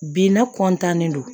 Bi n'a don